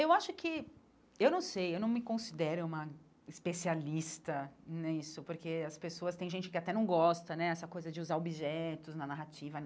Eu acho que... Eu não sei, eu não me considero uma especialista nisso, porque as pessoas... Tem gente que até não gosta né dessa coisa de usar objetos na narrativa.